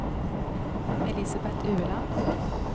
Elisabet Ueland